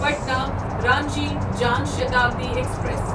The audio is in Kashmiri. پٹنا رانچی جان شتابدی ایکسپریس